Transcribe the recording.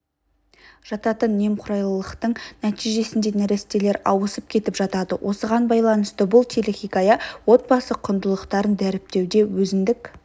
жататын немқұрайлылықтың нәтижесінде нәрестелер ауысып кетіп жатады осыған байланысты бұл телехикая отбасы құндылықтарын дәріптеуде өзіндік